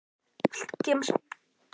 Viltu gefa mér smábita af diskinum þínum?